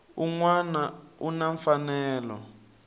un wana u na mfanelo